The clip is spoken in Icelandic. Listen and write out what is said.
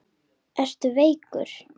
Ertu veikur?